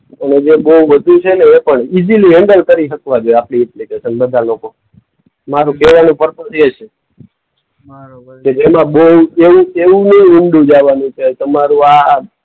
અને જે બોઉ વધુ છેને એ પણ. ઈઝીલી હેન્ડલ કરી હકવા જોઈએ આપણી એપ્લિકેશન બધા લોકો. મારુ કહેવાનું પરપઝ એ છે. કે જેમાં બોઉ એવું એવું નઈ કે તમારું આ